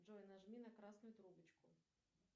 джой нажми на красную трубочку